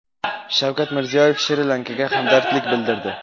Shavkat Mirziyoyev Shri-Lankaga hamdardlik bildirdi.